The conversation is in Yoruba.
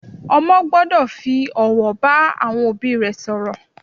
Ọmọ gbọ́dọ̀ fi ọ̀wọ̀ bá àwọn òbí rẹ̀ sọ̀rọ̀